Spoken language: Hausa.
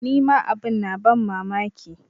Ni ma abin na ban mamaki.